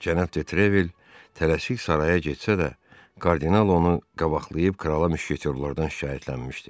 Cənab De Trevil tələsik saraya getsə də, kardinal onu qabaqlayıb krala müşketorlardan şikayətlənmişdi.